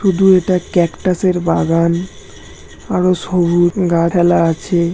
শুধু এটা ক্যাকটাসের বাগান আরো আছে ।